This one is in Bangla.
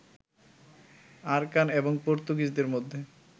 আরাকান এবং পর্তুগিজদের মধ্যে